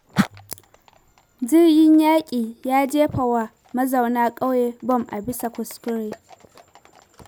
Jirgin yaƙi ya jefa wa mazauna ƙauye bom a bisa kuskure.